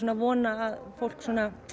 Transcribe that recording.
að vona að fólk